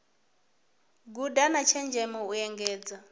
guda na tshenzhemo u engedza